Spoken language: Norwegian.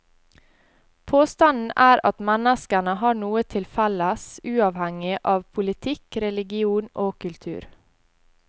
Påstanden er at menneskene har noe til felles uavhengig av politikk, religion og kultur.